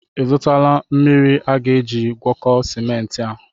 Ị zụtala mmiri aga-eji gwakọọ simenti a?